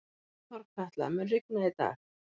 Þorkatla, mun rigna í dag?